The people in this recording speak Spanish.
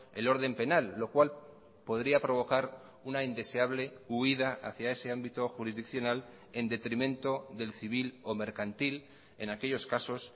el orden penal lo cual podría provocar una indeseable huída hacia ese ámbito jurisdiccional en detrimento del civil o mercantil en aquellos casos